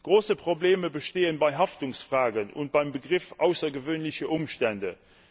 Große Probleme bestehen bei Haftungsfragen und beim Begriff außergewöhnliche Umstände.